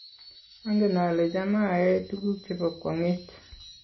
angen ale cham ayae tukuk chebo kwang'et